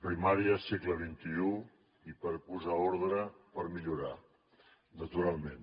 primària segle xxi i per posar ordre per millorar naturalment